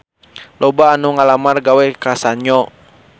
Loba anu ngalamar gawe ka Sanyo